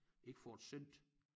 Ikke får det sendt